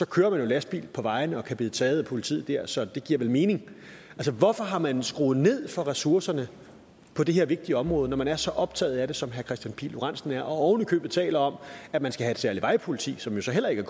kører man jo lastbil på vejene og kan blive taget af politiet der så det giver vel mening altså hvorfor har man skruet ned for ressourcerne på det her vigtige område når man er så optaget af det som herre kristian pihl lorentzen er og ovenikøbet taler om at man skal have et særligt vejpoliti som jo så heller ikke